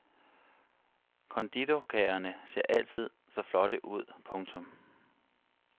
Konditorkagerne ser altid så flotte ud. punktum